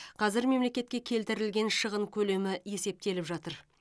қазір мемлекетке келтірілген шығын көлемі есептеліп жатыр